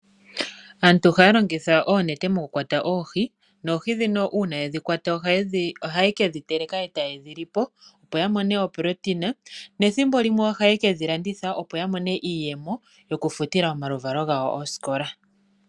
Aantu ohaya longitha oonete mokukwata oohi , noohi ndhino uuna yedhikwata, ohaye kedhi teleka e taye dhilipo, opo ya mone oprotein. Nethimbo limwe ohaye kedhi landitha, opo ya mone iiyemo yokufutila omaluvalo gawo osikola.